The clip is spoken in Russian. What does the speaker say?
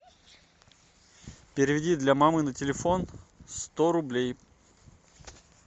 переведи для мамы на телефон сто рублей